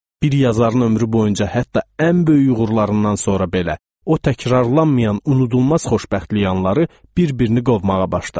Bir yazarın ömrü boyunca hətta ən böyük uğurlarından sonra belə o təkrarlanmayan, unudulmaz xoşbəxtlik anları bir-birini qovmağa başladı.